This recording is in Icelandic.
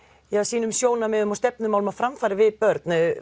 sínum sjónarmiðum og stefnumálum á framfæri við börn